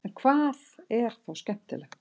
en hvað er þá skemmtilegt